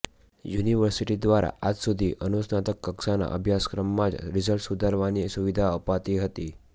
university દ્વારા આજ સુધી અનુસ્નાતકકક્ષાના અભ્યાસક્રમમાં જ રિઝલ્ટ સુધારવાની સુવિધા અપાતી હતી